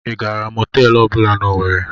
I gaara mọtelụ ọbụla n'Owerri?